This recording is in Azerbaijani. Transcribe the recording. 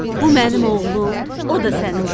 Bu mənim oğlum, o da sənin qızın.